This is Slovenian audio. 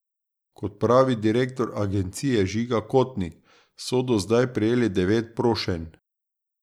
Kot pravi direktor agencije Žiga Kotnik, so do zdaj prejeli devet prošenj.